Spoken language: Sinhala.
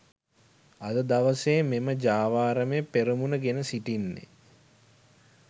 අද දවසේ මෙම ජාවාරමේ පෙරමුණ ගෙන සිටින්නේ